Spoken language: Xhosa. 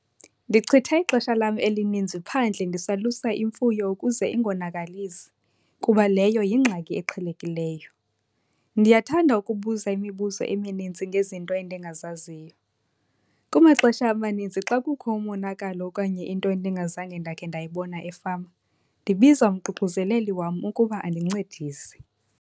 Ndichitha ixesha lam elininzi phandle ndisalusa imfuyo ukuze ingonakalisi kuba leyo yingxaki eqhelekileyo. Ndiyathanda ukubuza imibuzo emininzi ngezinto endingazaziyo. Kumaxesha amaninzi xa kukho umonakalo okanye into endingazange ndakhe ndayibona efama, ndibiza umququzeleli wam ukuba andincedise.